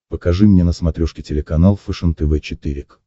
покажи мне на смотрешке телеканал фэшен тв четыре к